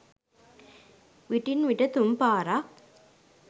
විටින් විට තුන් පාරක්